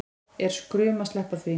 Er skrum að sleppa því